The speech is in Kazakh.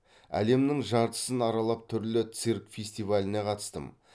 әлемнің жартысын аралап түрлі цирк фестиваліне қатыстым